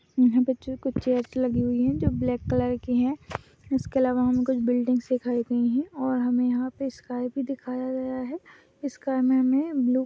यहाँ पीछे कुछ चेयर्स लगी हुई है जो ब्लैक कलर कि है इसके अलवा हमे कुछ बिल्डिंग्स दिखाई गई है और हमें यहाँ पे स्काइ भी दिखाया गया है स्काई में हमे ब्लू --